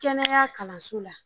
Kɛnɛya kalanso la.